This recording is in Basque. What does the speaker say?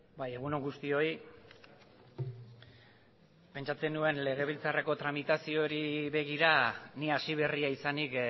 bai egun on guztioi pentsatzen nuen legebiltzarreko tramitazioari begira ni hasiberria izanik